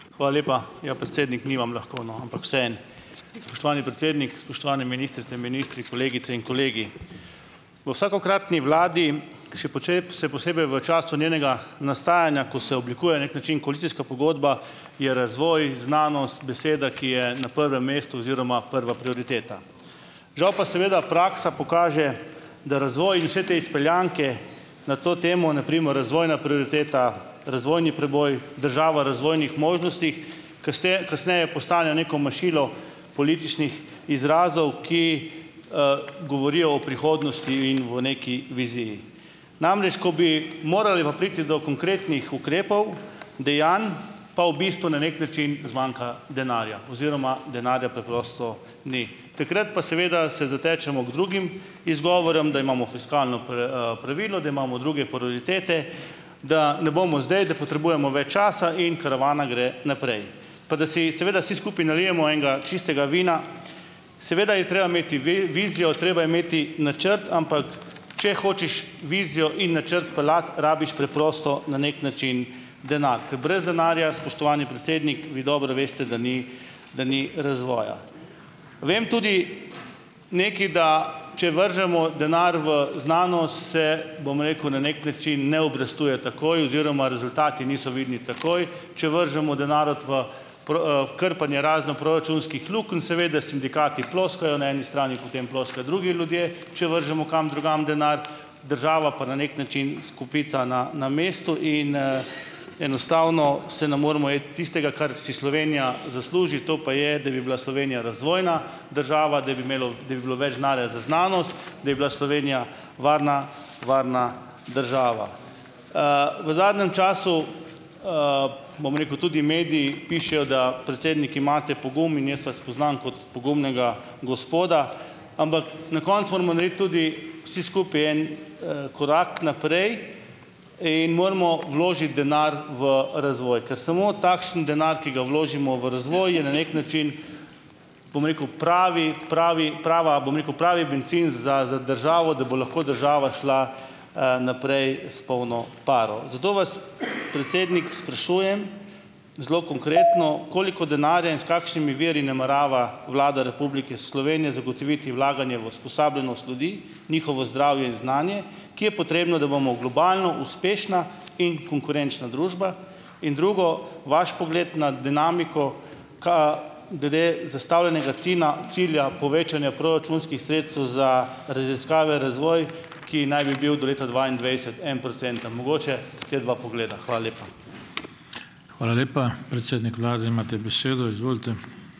Hvala lepa! Ja, predsednik ni vam lahko, no, ampak vseeno. Spoštovani predsednik, spoštovani ministrice in ministri, kolegice in kolegi! V vsakokratni vladi, še se posebej v času njenega nastajanja, ko se oblikuje, na neki način, koalicijska pogodba, je razvoj, znanost, beseda, ki je na prvem mestu oziroma prva prioriteta. Žal pa seveda praksa pokaže, da razvoj in vse te izpeljanke na to temo, na primer razvojna prioriteta, razvojni preboj, država razvojnih možnostih, kasneje postanejo neko mašilo političnih izrazov, ki, govorijo o prihodnosti in v neki viziji. Namreč ko bi morali pa priti do konkretnih ukrepov, dejanj, pa v bistvu na neki način zmanjka denarja oziroma denarja preprosto ni. Takrat pa seveda se zatečemo k drugim izgovorom, da imamo fiskalno pravilo, da imamo druge prioritete, da ne bomo zdaj, da potrebujemo več časa in karavana gre naprej. Pa da si seveda vsi skupaj nalijemo enega čistega vina, seveda je treba imeti vizijo, treba je imeti načrt, ampak če hočeš vizijo in načrt speljati, rabiš preprosto na neki način denar, ker brez denarja, spoštovani predsednik, vi dobro veste, da ni da ni razvoja. Vem tudi nekaj, da če vržemo denar v znanost, se, bom rekel, na neki način ne obrestuje takoj oziroma rezultati niso vidni takoj, če vržemo denar v krpanje raznih proračunskih lukenj, seveda sindikati ploskajo, na eni strani potem ploskajo drugi ljudje, če vržemo kam drugam denar, država pa na neki način stopica na na mestu in, enostavno se ne moremo iti tistega, kar si Slovenija zasluži, to pa je, da bi bila Slovenija razvojna država, da bi imelo, da bi bilo več denarja za znanost, da bi bila Slovenija varna varna država. V zadnjem času, bom rekel, tudi mediji pišejo, da predsednik imate pogum in jaz vas poznam kot pogumnega gospoda, ampak na koncu moramo narediti tudi vsi skupaj en korak naprej in moramo vložiti denar v razvoj, kar samo takšen denar, ki ga vložimo v razvoj, je na neki način, bom rekel, pravi, pravi, prava, bom rekel, pravi bencin za za državo, da bo lahko država šla, naprej s polno paro. Zato vas, predsednik, sprašujem, zelo konkretno, koliko denarja in s kakšnimi viri namerava Vlada Republike Slovenije zagotoviti vlaganje v usposobljenost ljudi, njihovo zdravje in znanje, ki je potrebno, da bomo v globalno uspešna in konkurenčna družba, in drugo, vaš pogled na dinamiko glede zastavljenega cilja povečanja proračunskih sredstev za raziskave, razvoj, ki naj bi bil do leta dvaindvajset enoprocenten. Mogoče, te dva pogleda. Hvala lepa.